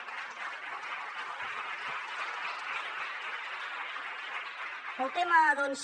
pel tema doncs